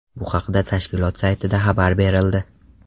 Bu haqda tashkilot saytida xabar berildi .